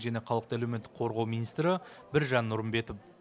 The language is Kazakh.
және халықты әлеуметтік қорғау министрі біржан нұрымбетов